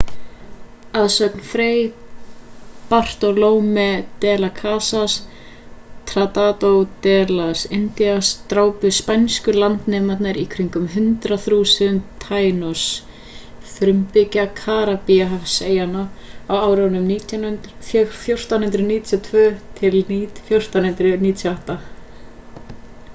að sögn fray bartolomé de las casas tratado de las indias drápu spænsku landnemarnir í kringum 100.000 taínos frumbyggja karíbahafseyjanna á árunum 1492 til 1498